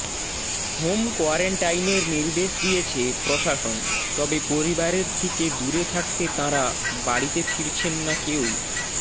home কোয়ারেন্টাইনের নির্দেশ দিয়েছে প্রশাসন তবে পরিবারের থেকে দূরে থাকতে তাঁরা বাড়িতে ফিরছেন না কেউ